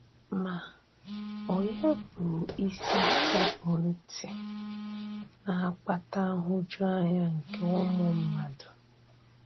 Ma ònyé bụ́ ísì sekpụ̀ ntị na-akpàtà nhụ́juanya nke ụmụ mmadụ?